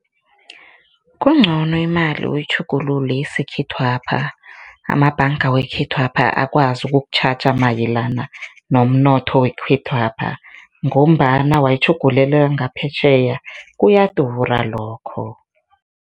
Kuncono imali uyitjhugululele isikhethwapha, amabhanga wekhethwapha akwazi ukukutjhaja mayelana nomnotho wekhethwapha ngombana, wayitjhugulelwa ngaphetjheya, kuyadura lokho.